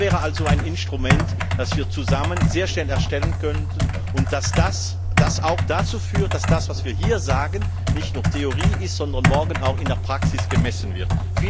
Das wäre also ein Instrument, das wir zusammen sehr schnell erstellen könnten und das auch dazu führt, dass das, was wir hier sagen, nicht nur Theorie ist, sondern morgen auch in der Praxis gemessen wird.